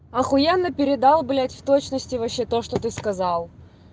ахуенно передал блядь в точности вообще то что ты сказал